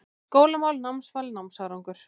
SKÓLAMÁL, NÁMSVAL, NÁMSÁRANGUR